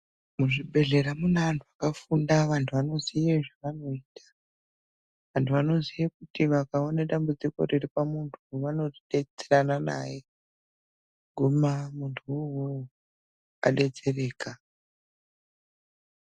Muzvibhedhlera mune antu akafunda antu anoziva zvaanoita Vantu vanoti vakaona dambudziko pamuntu vanodetserana naye kuguma muntuwo uwowo adetsereka .